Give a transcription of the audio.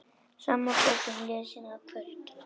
Sama bókin lesin að kvöldi.